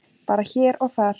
Bara hér og þar.